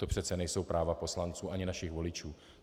To přeci nejsou práva poslanců ani našich voličů.